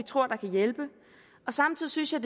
tror kan hjælpe samtidig synes jeg